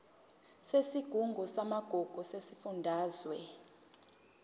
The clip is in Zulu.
yesigungu samagugu sesifundazwe